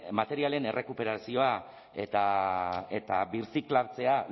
materialen errekuperazioa eta birziklatzea